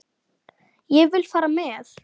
Ég vil fara með.